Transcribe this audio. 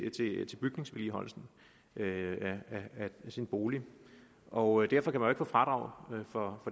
bygningsvedligeholdelsen af sin bolig og derfor kan man få fradrag for